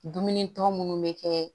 Dumuni tɔ munnu bɛ kɛ